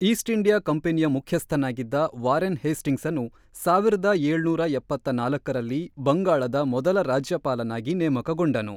East India ಕಂಪನಿಯ ಮುಖ್ಯಸ್ಥನಾಗಿದ್ದ Warren ಹೇಸ್ಟಿಂಗ್ಸನು ಸಾವಿರದ ಏಳ್ನೂರ ಎಪ್ಪತ್ತ್ ನಾಲ್ಕ ರಲ್ಲಿ ಬಂಗಾಳದ ಮೊದಲ ರಾಜ್ಯಪಾಲನಾಗಿ ನೇಮಕಗೊಂಡನು.